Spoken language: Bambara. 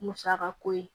Musaka ko ye